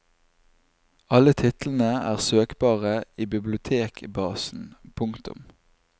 Alle titlene er søkbare i bibliotekbasen. punktum